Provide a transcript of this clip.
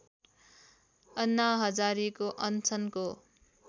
अन्ना हजारेको अनसनको